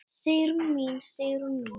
Sigrún mín, Sigrún mín.